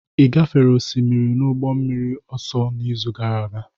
Ị gafere osimiri n'ụgbọ mmiri ọsọ n'izu gara aga?